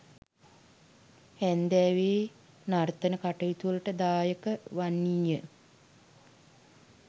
හැන්දෑවේ නර්තන කටයුතුවලට දායක වන්නීය.